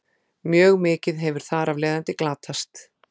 mjög mikið hefur þar af leiðandi glatast